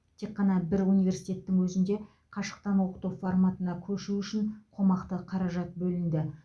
тек қана бір университеттің өзінде қашықтан оқыту форматына көшу үшін қомақты қаржат бөлінді